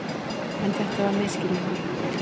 En þetta var misskilningur.